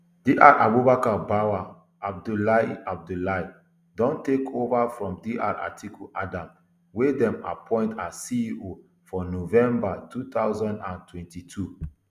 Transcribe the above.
dr abubakar bawah abdulai abdulai don take ova from dr atiku adam wey dem appoint as ceo for november two thousand and twenty-two